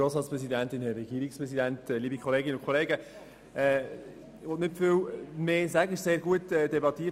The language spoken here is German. Es wurde heute sehr gut über diesen Vorstoss debattiert.